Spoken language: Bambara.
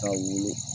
Ka wolo